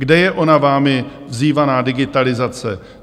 Kde je ona vámi vzývaná digitalizace?